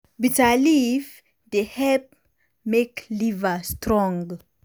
bitter leaf dey help make liver strong.